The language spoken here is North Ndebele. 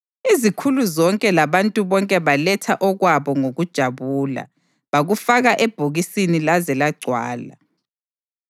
Izikhulu zonke labantu bonke baletha okwabo ngokujabula, bakufaka ebhokisini laze lagcwala.